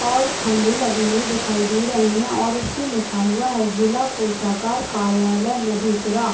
और खम्भे लगे हुए दिखाई दे रहे है और उसपे लिखा हुआ है जिला कोषागार कार्यालय मधेपुरा।